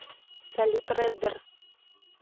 салют реддер